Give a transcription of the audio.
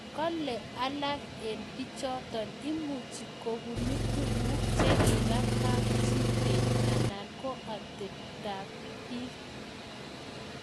Kalee alakee eng pichotok imuchii kobunuu tuguk chekipaa kapchii keny anan koatepeet ap piik